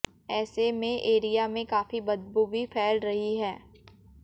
ऐसे में एरिया में काफी बदबू भी फैल रही है